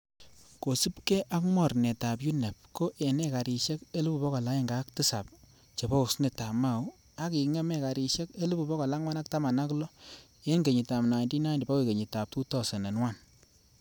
Kosiibge ak mornetab UNEP, ko en ekarisiek 107,000 chebo osnetab mau ak kingem ekarisiek 416,000 en kenyitab 1990 bokoi kenyitab 2001.